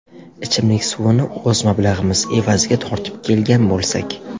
Ichimlik suvini o‘z mablag‘imiz evaziga tortib kelgan bo‘lsak.